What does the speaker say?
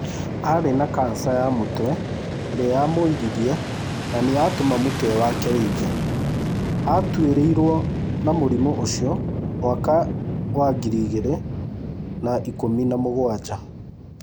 Aarĩ na cancer ya mũtwe ĩrĩa yamũririe na nĩyatũma mũtwe wake ũibe. Aatuĩrĩirwo na mũrimũ ũcio mwaka wa ngiri igĩrĩ na ikũmi na mũgwanja.